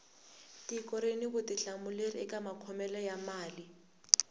tiko rini vutihlamuleri eka makhomele ya mali